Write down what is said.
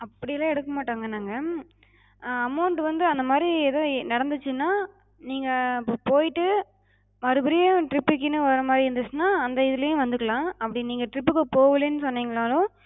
அப்டிலா எடுக்க மாட்டோங்க நாங்க. amount வந்து அந்த மாரி எதும் நடந்துச்சுனா, நீங்க போய்ட்டு மறுபடியு trip க்குனு வர்ற மாரி இருந்துச்சுனா அந்த இதுலயு வந்துக்கலாம். அப்டி நீங்க trip போவலன்னு சொன்னிங்கனாலு